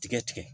Tigɛ tigɛ